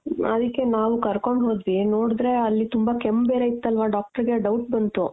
ಆದಿಕ್ಕೆ ನಾವು ಕರ್ಕೊಂಡ್ ಹೋದ್ವಿ ನೋಡುದ್ರೆ ಅಲ್ಲಿ ತುಂಬಾ ಕೆಮ್ಮು ಬೇರೆ ಇತ್ತಲ್ವಾ doctor ಗೆ doubt ಬಂತು.